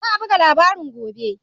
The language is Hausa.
Za a buga labarin gobe